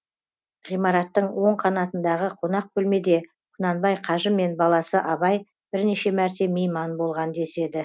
ғимараттың оң қанатындағы қонақ бөлмеде құнанбай қажы мен баласы абай бірнеше мәрте мейман болған деседі